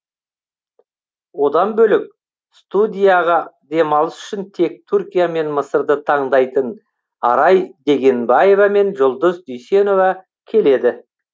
одан бөлек студияға демалыс үшін тек түркия мен мысырды таңдайтын арай дегенбаева мен жұлдыз дүйсенова келеді